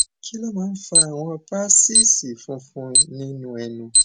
kí ló máa ń fa àwọn paṣíìṣì funfun nínú ẹnu